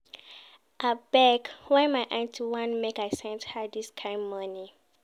Abeg, why my aunty want make I send her dis kain moni?